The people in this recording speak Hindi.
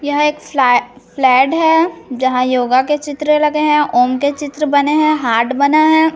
यह एक फ़्ला फ्लैट है जहाँ योगा के चित्र लगे है ओम के चित्र बने है हार्ट बना है।